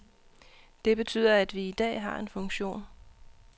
Det betyder, at vi i dag har en funktion.